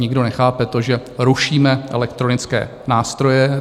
Nikdo nechápe to, že rušíme elektronické nástroje.